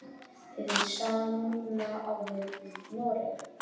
Hið sama á við um Noreg.